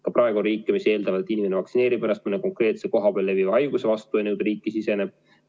Ka praegu on riike, mis eeldatavad, et inimene vaktsineerib ennast mõne konkreetse kohapeal leviva haiguse vastu enne, kui ta riiki siseneb.